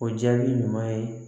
O jaabi ɲuman ye